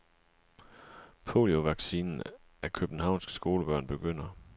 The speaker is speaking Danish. Poliovaccineringen af københavnske skolebørn begynder.